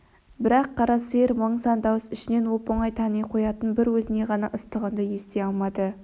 бірақ қара сиыр мың сан дауыс ішінен оп-оңай тани қоятын бір өзіне ғана ыстық үнді ести алмады